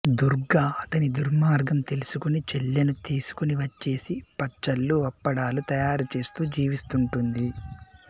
దుర్గ అతని దుర్మార్గం తెలుసుకొని చెల్లెను తెసుకొని వచ్చేసి పచ్చళ్ళు అప్పడాలు తయారు చేస్తూ జీవిస్తుంటుంది